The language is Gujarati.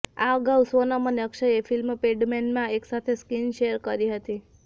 આ અગાઉ સોનમ અને અક્ષયે ફિલ્મ પેડમેનમાં એકસાથે સ્ક્રીન શેર કરી છે